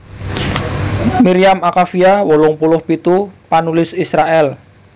Miriam Akavia wolung puluh pitu panulis Israèl